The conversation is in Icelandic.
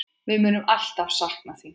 Við munum alltaf sakna þín.